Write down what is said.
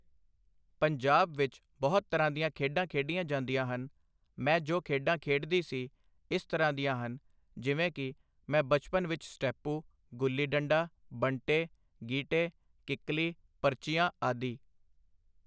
ਪੰਜਾਬ ਵਿੱਚ ਬਹੁਤ ਤਰ੍ਹਾਂ ਦੀਆਂ ਖੇਡਾਂ ਖੇਡੀਆਂ ਜਾਂਦੀਆਂ ਹਨ, ਮੈਂ ਜੋ ਖੇਡਾਂ ਖੇਡਦੀ ਸੀ, ਇਸ ਤਰ੍ਹਾਂ ਦੀਆਂ ਹਨ, ਜਿਵੇਂ ਕਿ- ਮੈਂ ਬਚਪਨ ਵਿੱਚ ਸਟੈਪੂ, ਗੁੱਲੀ ਡੰਡਾ, ਬੰਟੇ, ਗੀਟੇ ਕਿੱਕਲੀ, ਪਰਚੀਆਂ ਆਦਿ